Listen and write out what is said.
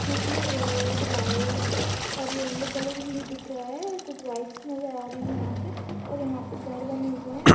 कुटी मे red white और येल्लो कलर भी दिख रहे है और कुछ बाईकस् आ रही है। यहा पर और घर बने हुए है।